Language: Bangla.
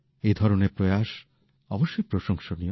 এ ধরনের প্রয়াস অবশ্যই প্রশংসনীয়